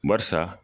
Barisa